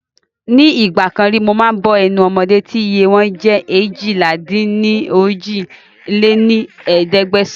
Ní ìgbàkan ríi mo máa ń bọ́ ẹnu ọmọdé tí iye wọn jẹ́ eéjìlá-dín-ní-ojì lé ní ẹ̀ẹ́dẹ́gbẹ́sán